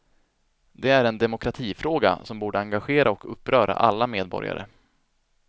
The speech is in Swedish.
Det är en demokratifråga som borde engagera och uppröra alla medborgare.